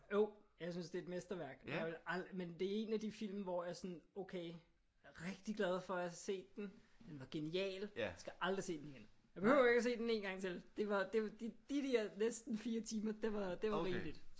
Jo! Jeg synes det er et mesterværk men jeg ville aldrig men det er en af de film hvor jeg sådan okay jeg er rigtig glad for at have set den. Den var genial. Skal aldrig se den igen. Jeg behøver ikke at se den en gang til. Det var de de der næsten 4 timer det var det var rigeligt